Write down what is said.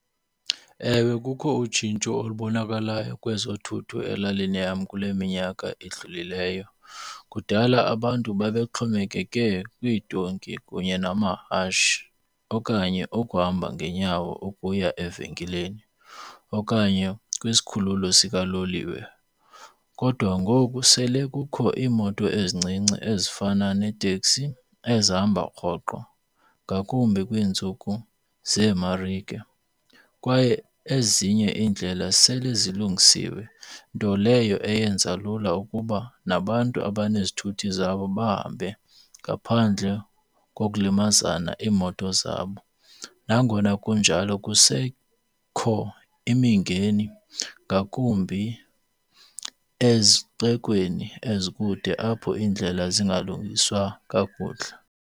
Ewe, kukho utshintsho olubonakalayo kwezothutho elalini yam kule minyaka idlulileyo. Kudala abantu babexhomekeke kwiidonki kunye namahashe okanye ukuhamba ngeenyawo ukuya evenkileni okanye kwisikhululo sikaloliwe. Kodwa ngoku sele kukho iimoto ezincinci ezifana neeteksi ezihamba rhoqo, ngakumbi kwiintsuku zeemarike. Kwaye ezinye iindlela sele zilungisiwe nto leyo eyenza lula ukuba nabantu abanezithuthi zabo bahambe ngaphandle kokulimazana iimoto zabo. Nangona kunjalo kusekho imingeni ngakumbi ezixekweni ezikude apho indlela zingalungiswa kakuhle.